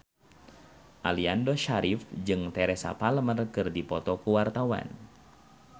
Aliando Syarif jeung Teresa Palmer keur dipoto ku wartawan